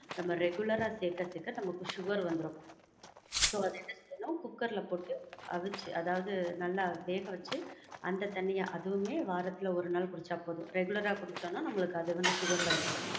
நமக்கு regular ஆ சேக்குறதுக்கு நமக்கு sugar வந்துரும். So குக்கர்ல போட்டு அவிச்சி, அதாவது நல்லா வேக வச்சி, அந்த தண்ணிய, அதுவுமே வாரத்துல ஒரு நாள் குடிச்சா போதும். Regular ஆ குடிச்சோம்னா, அது வந்து sugar ல வச்சிரும்.